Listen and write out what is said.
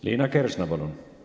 Liina Kersna, palun!